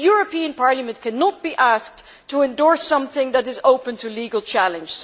The European Parliament cannot be asked to endorse something which is open to legal challenge.